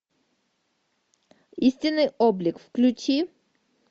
истинный облик включи